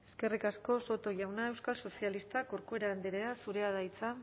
eskerrik asko soto jauna euskal sozialistak corcuera andrea zurea da hitza